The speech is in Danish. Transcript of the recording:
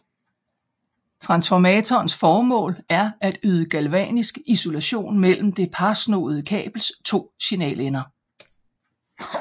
Transformatorens formål er at yde Galvanisk isolation mellem det parsnoede kabels to signalender